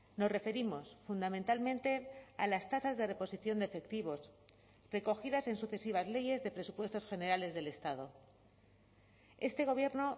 nos referimos fundamentalmente a las tasas de reposición de efectivos recogidas en sucesivas leyes de presupuestos generales del estado este gobierno